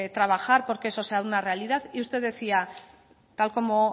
trabajar porque que eso sea una realidad y usted decía tal como